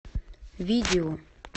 видео